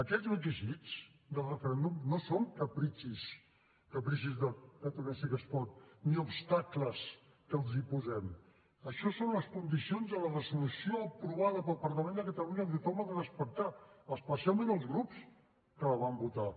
aquests requisits del referèndum no són capricis de catalunya sí que es pot ni obstacles que els posem això són les condicions de la resolució aprovada pel parlament de catalunya que tothom ha de respectar especialment els grups que la van votar